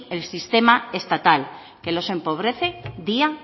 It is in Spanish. el sistema estatal que los empobrece día